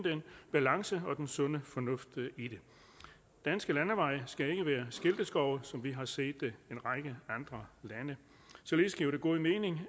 balancen og den sunde fornuft i det danske landeveje skal ikke være skilteskove som vi har set det i en række andre lande således giver det god mening